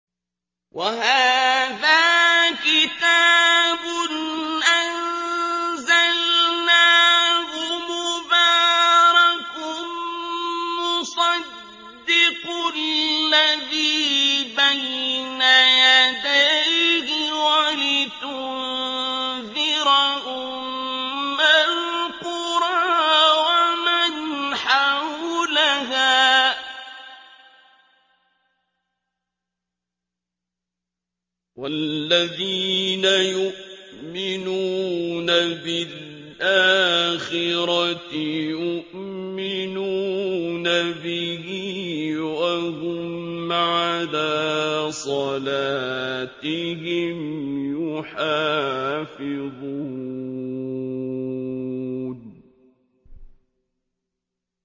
وَهَٰذَا كِتَابٌ أَنزَلْنَاهُ مُبَارَكٌ مُّصَدِّقُ الَّذِي بَيْنَ يَدَيْهِ وَلِتُنذِرَ أُمَّ الْقُرَىٰ وَمَنْ حَوْلَهَا ۚ وَالَّذِينَ يُؤْمِنُونَ بِالْآخِرَةِ يُؤْمِنُونَ بِهِ ۖ وَهُمْ عَلَىٰ صَلَاتِهِمْ يُحَافِظُونَ